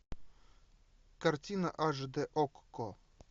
картина аш дэ окко